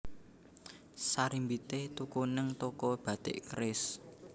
Sarimbite tuku ning toko Batik Keris